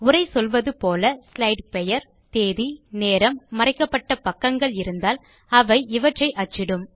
உரை சொல்வது போல ஸ்லைடு பெயர் தேதி நேரம் மறைக்கப்பட்ட பக்கங்கள் இருந்தால் அவை இவற்றை அச்சிடும்